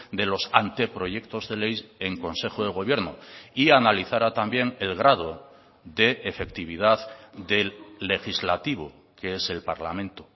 de los anteproyectos de ley en consejo de gobierno y analizara también el grado de efectividad del legislativo que es el parlamento